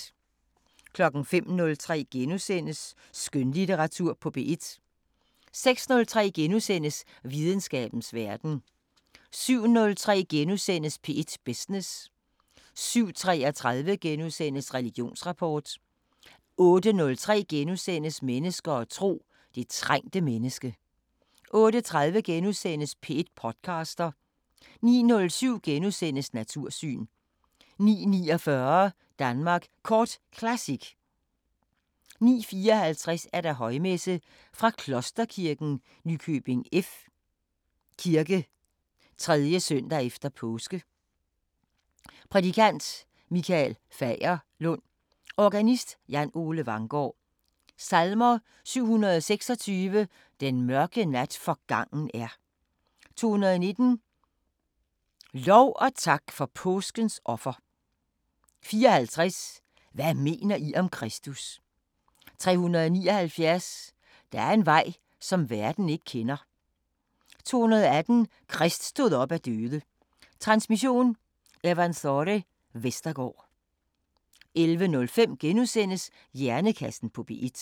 05:03: Skønlitteratur på P1 * 06:03: Videnskabens Verden * 07:03: P1 Business * 07:33: Religionsrapport * 08:03: Mennesker og tro: Det trængte menneske * 08:30: P1 podcaster * 09:07: Natursyn * 09:49: Danmark Kort Classic 09:54: Højmesse - Fra Klosterkirken, Nykøbing F. kirke 3. søndag efter Påske. Prædikant: Michael Fagerlund. Organist: Jan Ole Vanggaard. Salmer: 726: Den mørke nat forgangen er. 219: Lov og tak for påskens offer. 54: Hvad mener I om Kristus? 379: Der er en vej, som verden ikke kender. 218: Krist stod op af døde. Transmission: Evanthore Vestergaard. 11:05: Hjernekassen på P1 *